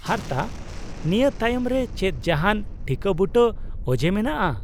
-ᱦᱟᱨᱛᱟ ? ᱱᱤᱭᱟᱹ ᱛᱟᱭᱚᱢ ᱨᱮ ᱪᱮᱫ ᱡᱟᱦᱟᱱ ᱴᱷᱤᱠᱟᱹᱵᱩᱴᱟᱹ ᱚᱡᱮ ᱢᱮᱱᱟᱜᱼᱟ ?